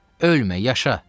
Ölmə, yaşa!